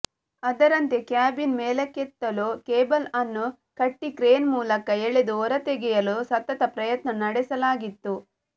ಅದರಂತೆ ಕ್ಯಾಬಿನ್ ಮೇಲಕ್ಕೆತ್ತಲು ಕೇಬಲ್ಅನ್ನು ಕಟ್ಟಿ ಕ್ರೇನ್ ಮೂಲಕ ಎಳೆದು ಹೊರತೆಗೆಯಲು ಸತತ ಪ್ರಯತ್ನ ನಡೆಸಲಾಗಿತ್ತು